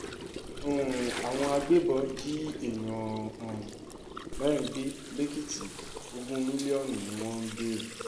um àwọn agbébọn jí èèyàn um mẹ́rin gbé lẹ́kìtì ogún mílíọ̀nù ni wọ́n ń béèrè